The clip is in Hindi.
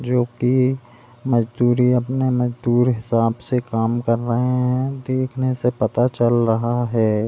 जो की मजदूरी अपने मजदुर हिसाब से काम कर रहे है देखने से पता चल रहा है।